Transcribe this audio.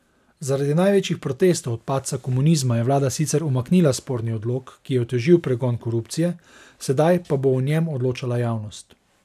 Zaradi največjih protestov od padca komunizma je vlada sicer umaknila sporni odlok, ki je otežil pregon korupcije, sedaj pa bo o njem odločala javnost.